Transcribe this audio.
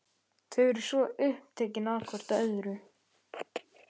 Þau eru svo upptekin hvort af öðru.